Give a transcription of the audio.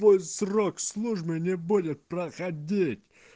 твой срок службы не будет проходить